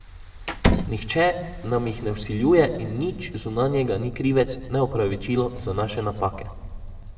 Nihče nam jih ne vsiljuje in nič zunanjega ni krivec ne opravičilo za naše napake.